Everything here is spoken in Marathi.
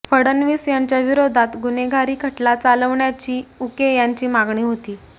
फडणवीस यांच्याविरोधात गुन्हेगारी खटला चालवण्यीची उके यांची मागणी होती